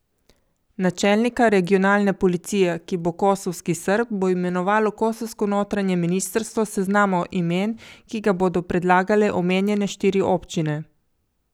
Načelnika regionalne policije, ki bo kosovski Srb, bo imenovalo kosovsko notranje ministrstvo s seznama imen, ki ga bodo predlagale omenjene štiri občine.